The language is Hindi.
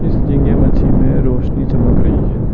इस झींगे मच्छी में रोशनी चमक रही है।